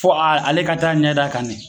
Fɔ a ale ka taa ɲɛd'a kan ne.